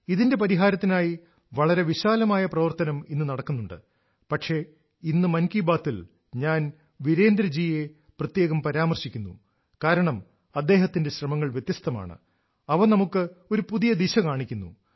ഇതിന്റെ പരിഹാരത്തിനായി വളരെ വിശാലമായ പ്രവർത്തനം ഇന്ന് നടക്കുന്നുണ്ട് പക്ഷേ ഇന്ന് മൻ കി ബാത്തിൽ ഞാൻ വീരേന്ദ്ര ജിയെ പ്രത്യേകം പരാമർശിക്കുന്നു കാരണം അദ്ദേഹത്തിന്റെ ശ്രമങ്ങൾ വ്യത്യസ്തമാണ് അവ നമുക്ക് ഒരു പുതിയ ദിശ കാണിക്കുന്നു